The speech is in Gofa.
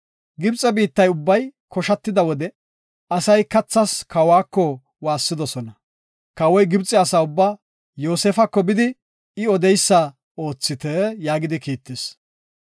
Gibxe biittay ubbay koshatida wode, asay kathas kawako waassidosona. Kawoy Gibxe asa ubba, “Yoosefako bidi, I odeysa oothite” yaagidi kiittis.